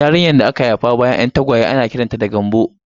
Yarinyar da aka haifa bayan 'yan tagwaye ana kiranta da 'Gambo'